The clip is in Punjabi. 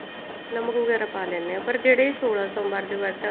ਨਮਕ ਵਗੈਰਾ ਪਾ ਲੈਂਦੇ ਹਾਂ ਪਰ ਜਿਹੜੇ ਸੋਲਾਂ ਸੋਮਵਾਰ ਦੇ ਵਰਤ ਆ